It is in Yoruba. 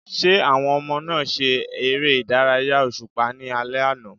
Ṣé àwọn ọmọ náà ṣe ère ìdárayá òṣùpá ní alẹ́ àná?